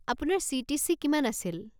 আপোনাৰ চি.টি.চি. কিমান আছিল?